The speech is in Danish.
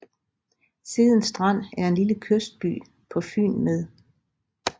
Seden Strand er en lille kystby på Fyn med